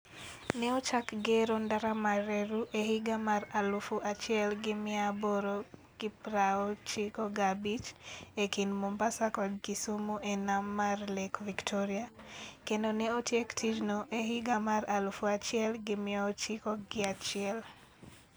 Ne ochak gero ndara mar reru e higa mar 1895 e kind Mombasa kod Kisumu e nam mar Lake Victoria, kendo ne otiek tijno e higa mar 1901.